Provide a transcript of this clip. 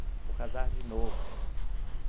Vou casar de novo.